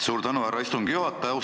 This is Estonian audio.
Suur tänu, härra istungi juhataja!